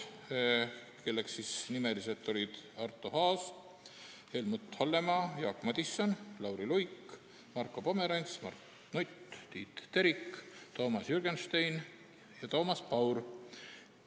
Mainin hääletajaid nimeliselt: Arto Aas, Helmut Hallemaa, Jaak Madison, Lauri Luik, Marko Pomerants, Mart Nutt, Tiit Terik, Toomas Jürgenstein ja Toomas Paur.